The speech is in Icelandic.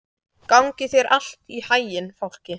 Gangi þér allt í haginn, Fálki.